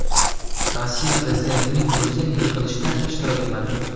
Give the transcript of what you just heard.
Rossiya prezidentining o‘zi yig‘ilishda ishtirok etmadi.